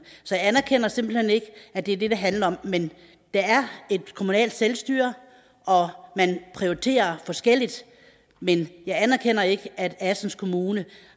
så jeg anerkender simpelt hen ikke at det er det det handler om men der er et kommunalt selvstyre og man prioriterer forskelligt men jeg anerkender ikke at assens kommune